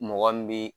Mɔgɔ min bi